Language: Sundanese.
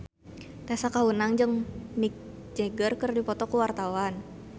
Tessa Kaunang jeung Mick Jagger keur dipoto ku wartawan